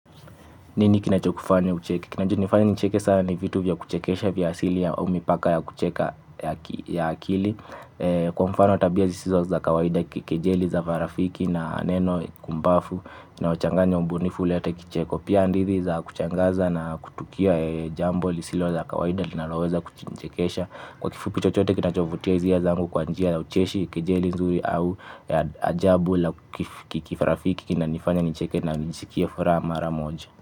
Nini kinachokufanya ucheke? Kina nifanya nicheke sana ni vitu vya kuchekesha vya asili ya omi paka ya kucheka ya akili. Kwa mfano tabia zisizo za kawaida kikejeli za marafiki na neno kumbafu unaochanganya ubunifu ulete kicheko. Pia hadithi za kushangaza na kutukia jambo lisilo za kawaida linaloweza kuchekesha. Kwa kifupi chochote kinachovutia hizia zangu kwa njia za ucheshi kejeli nzuri au ajabu la kirafiki kinanifanya nicheke na nisikie furaha mara moja.